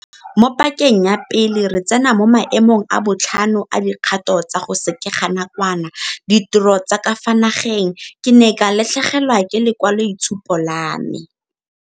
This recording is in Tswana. Mo pakeng ya pele re tsena mo maemong a botlhano a dikgato tsa go sekeganakwana ditiro tsa ka fa nageng, ke ne ka latlhegelwa ke lekwaloitshupo la me.